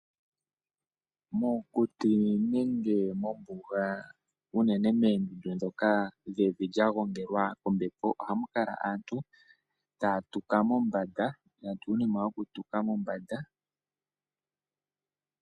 Mokuti nenge mombuga unene meendundu dhoka dhevi lya gwongelwa kombepo ohamu kala aantu taya tuka mombanda, yatya uunima woku tuka mombanda